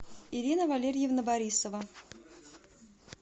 ирина валерьевна борисова